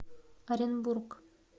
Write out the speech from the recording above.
оренбург